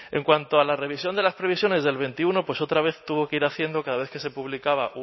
en cuanto a la revisión de las previsiones del veintiuno pues otra vez tuvo que ir haciendo cada vez que se publicaba